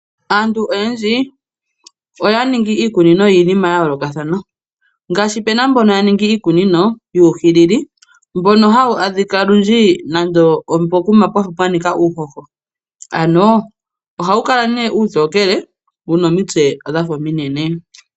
Aantu oyendji oya ningi iikunino yiinima ya yoolokathana, ngaashi pu na mbono ya ningi iikunino yuuhilili mbono olundji hawu adhika pokuma pwa nika uuhoho. Ohawu kala uutokele wu na omitse ominene.